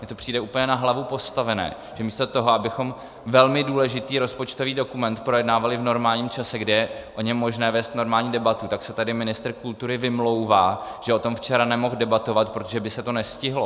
Mně to přijde úplně na hlavu postavené, že místo toho, abychom velmi důležitý rozpočtový dokument projednávali v normálním čase, kdy je o něm možné vést normální debatu, tak se tady ministr kultury vymlouvá, že o tom včera nemohl debatovat, protože by se to nestihlo.